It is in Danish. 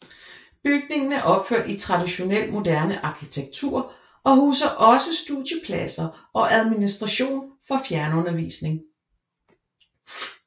Bygningen er opført i traditionel moderne arkitektur og huser også studiepladser og administration for fjernundervisning